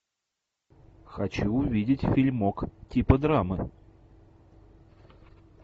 хочу увидеть фильмок типа драмы